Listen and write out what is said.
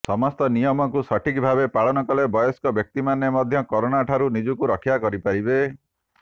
ସମସ୍ତ ନିୟମକୁ ସଠିକ୍ ଭାବେ ପାଳନ କଲେ ବୟସ୍କ ବ୍ୟକ୍ତିମାନେ ମଧ୍ୟ କରୋନା ଠାରୁ ନିଜକୁ ରକ୍ଷା କରିପାରିବେ